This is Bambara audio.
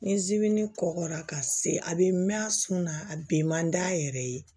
Ni zimini kɔgɔra ka se a bɛ mɛn a sun na a bɛn man d'a yɛrɛ ye